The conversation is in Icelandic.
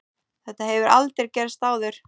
Þetta hefur aldrei gerst áður.